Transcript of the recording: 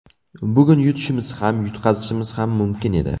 Bugun yutishimiz ham, yutqazishimiz ham mumkin edi.